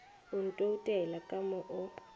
o ntoutela ka mo o